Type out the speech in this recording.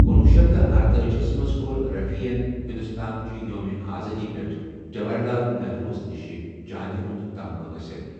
کنُۄہ شیتھ تہٕ ارتأجی ہس منز کور رفیین ہندوستان چہِ یومہِ آزٲدی پیٹھ جواہر لال نہروُ ہس نیشہِ چاندِ ہُند تمغہٕ حٲصل ۔